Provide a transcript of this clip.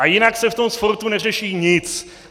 A jinak se v tom sportu neřeší nic.